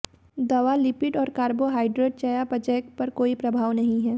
दवा लिपिड और कार्बोहाइड्रेट चयापचय पर कोई प्रभाव नहीं है